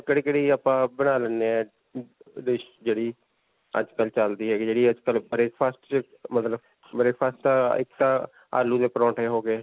ਕਿਹੜੀ-ਕਿਹੜੀ ਆਪਾਂ ਬਣਾ ਲੈਂਦੇ ਹੈਂ, dish ਜਿਹੜੀ ਅੱਜਕਲ੍ਹ ਚਲਦੀ ਹੈਗੀ ਜਿਹੜੀ ਅੱਜਕਲ੍ਹ breakfast 'ਚ ਮਤਲਬ breakfast ਤਾਂ ਇੱਕ ਤਾਂ ਆਲੂ ਦੇ ਪਰੌਂਠੇ ਹੋ ਗਏ.